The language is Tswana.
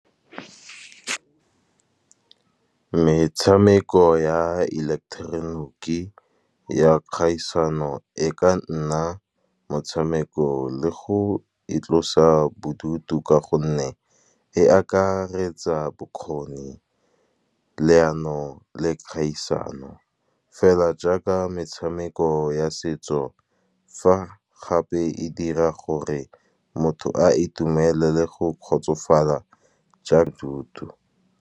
Metshameko ya ileketeroniki ya kgaisano e ka nna motshameko le go itlosa bodutu. Ka gonne e akaretsa bokgoni, leano le kgaisano, fela jaaka metshameko ya setso. Fa gape e dira gore motho a itumelele go kgotsofala ja thuto.